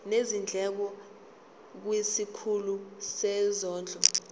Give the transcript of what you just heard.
nezindleko kwisikhulu sezondlo